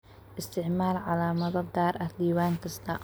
Isticmaal calaamado gaar ah diiwaan kasta.